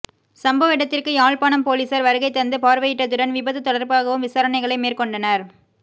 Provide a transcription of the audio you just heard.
சம்பவ இடத்திற்கு யாழ்ப்பாணம் பொலிஸார் வருகை தந்து பார்வையிட்டதுடன் விபத்து தொடர்பாகவும் விசாரணைகளை மேற்கொண்டனர்